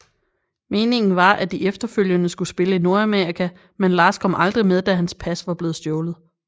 Meningen var at de efterfølgende skulle spille i Nordamerika men Lars kom aldrig med da hans pas var blevet stjålet